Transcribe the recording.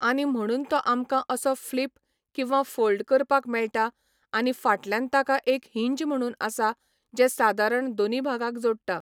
आनी म्हणून तो आमकां असो फ्लिप किंवा फोल्ड करपाक मेळटां आनी फाटल्यान ताका एक हिंज म्हणून आसा जे सादारण दोनी भागाक जोडटा